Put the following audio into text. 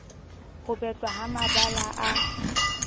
ho betlwa ha mabala a